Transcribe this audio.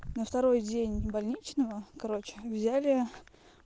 на второй день больничного короче взяли